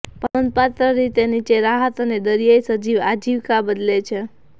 પણ નોંધપાત્ર રીતે નીચે રાહત અને દરિયાઈ સજીવ આજીવિકા બદલે છે